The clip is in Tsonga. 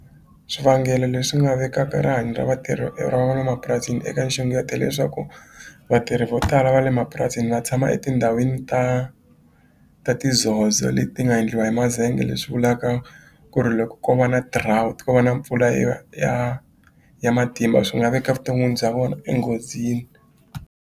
Swivangelo leswi nga vekaka rihanyo ra vatirhi eka nxungeto hileswaku vatirhi vo tala va le mapurasini va tshama etindhawini ta ta ti zozo leti ti nga endliwa hi mazenge leswi vulaka ku ri loko ko va na drought ko va na mpfula ya ya ya matimba swi nga veka vuton'wini bya vona enghozini.